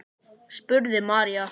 spurði María.